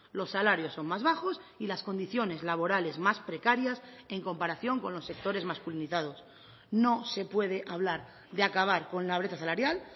los salarios son más bajos y las condiciones laborales más precarias en comparación con los sectores masculinizados no se puede hablar de acabar con la brecha salarial